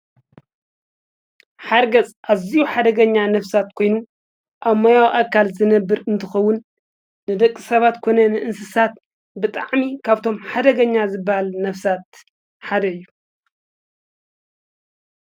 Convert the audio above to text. ሓርገጽ እዚኡ ሓደገኛ ነፍሳት ኮይኑ ኣሞያዊ ኣካል ዘነብር እንትኸውን ንደቂ ሰባት ኮነ ንእንስሳት ብጥዕሚ ካብቶም ሓደገኛ ዝበሃል ነፍሳት ሓደዩ።